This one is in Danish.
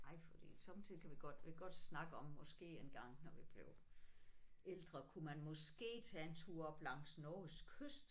Ej fordi sommetider kan vi godt vi kan godt snakke om måske engang når vi bliver ældre kunne man måske tage en tur op langs Norges kyst